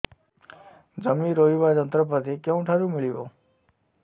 ଜମି ରୋଇବା ଯନ୍ତ୍ରପାତି କେଉଁଠାରୁ ମିଳିବ